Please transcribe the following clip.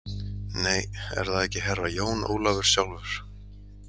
Nei, er það ekki Herra Jón Ólafur sjálfur?